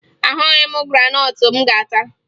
Ahụghị m graanọtụ m ga-ata